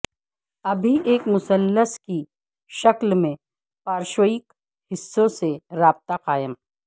ابھی ایک مثلث کی شکل میں پارشوئک حصوں سے رابطہ قائم